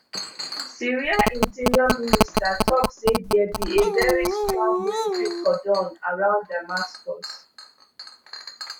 syria interior minister tok say dia be a very strong military cordon around damascus